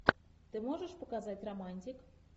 ты можешь показать романтик